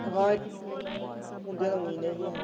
ਹਾਂ ਹੁੰਦੀਆਂ ਤਾਂ ਊਈਂ ਨੇ ਗੀਆਂ।